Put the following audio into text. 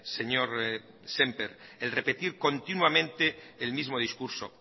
señor sémper el repetir continuamente el mismo discurso